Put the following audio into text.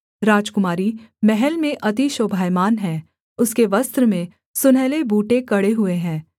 राजकुमारी महल में अति शोभायमान है उसके वस्त्र में सुनहले बूटे कढ़े हुए हैं